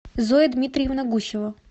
зоя дмитриевна гусева